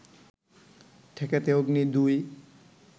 ঠেকাতে অগ্নি ২